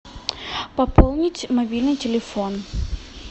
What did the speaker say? пополнить мобильный телефон